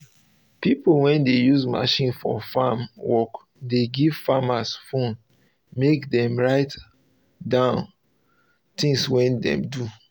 pipo wey dey use machine for farm work dey give farmers phone mek dem write down things wey dem do